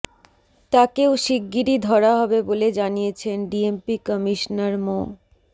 তাকেও শিগগিরই ধরা হবে বলে জানিয়েছেন ডিএমপি কমিশনার মো